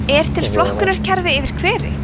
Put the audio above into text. er til flokkunarkerfi yfir hveri